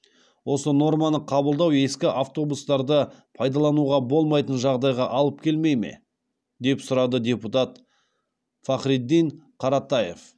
осы норманы қабылдау ескі автобустарды пайдалануға болмайтын жағдайға алып келмей ме деп сұрады депутат фахриддин қаратаев